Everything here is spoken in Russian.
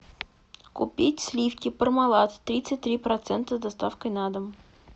купить сливки пармалат тридцать три процента с доставкой на дом